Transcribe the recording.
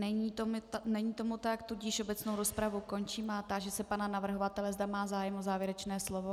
Není tomu tak, tudíž obecnou rozpravu končím a táži se pana navrhovatele, zda má zájem o závěrečné slovo.